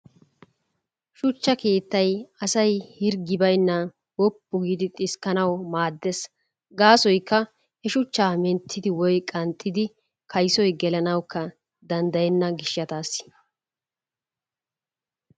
Shuchchaa keettay asay hirggi baynaan wuppu giidi xiskkanawu maaddees. Gaassoykka he menttidi woy qanxxidi kaysoy gellanawukka danddayenna gishshataassi.